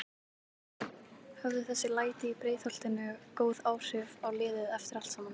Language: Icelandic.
Höfðu þessi læti í Breiðholtinu góð áhrif á liðið eftir allt saman?